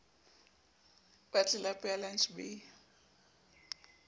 wa tlelapo ya lantjhe b